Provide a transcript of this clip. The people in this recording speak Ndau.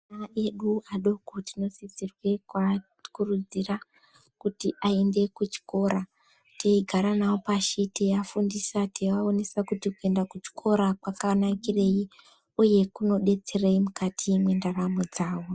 Ana edu adoko tinosisirwa kukurudzirwa kuti aende kuchikora teigara nawo pashi teivafundisa teivaronzera kuti Chikora kwakanakire uye kunkdetserei mukati mendaramo dzawo.